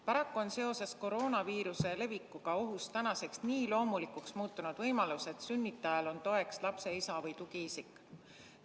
Paraku on seoses koroonaviiruse levikuga ohus tänaseks nii loomulikuks muutunud võimalus, et sünnitajale on toeks lapse isa või muu tugiisik.